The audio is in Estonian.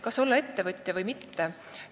Kas olla ettevõtja või mitte?